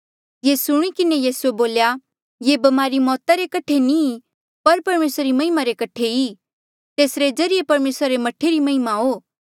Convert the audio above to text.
ये सुणी किन्हें यीसूए बोल्या ये ब्मारी मौता रे कठे नी ई पर परमेसरा री महिमा कठे ई कि तेसरे जरिए परमेसरा रे मह्ठा री महिमा हो